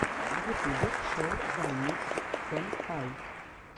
в ютубе шоу займикс сэнпай